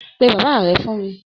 Pe bàbá rẹ fún mí!